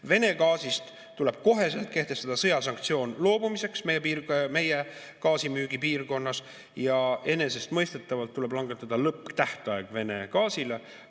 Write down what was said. Vene gaasist loobumiseks tuleb koheselt kehtestada sõjasanktsioon meie gaasimüügipiirkonnas ja enesestmõistetavalt tuleb langetada lõpptähtaeg Vene gaasi.